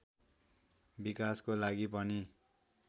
विकासको लागि पनि